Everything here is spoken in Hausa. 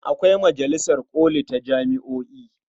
Akwai majalisar ƙoli ta jami'o'i.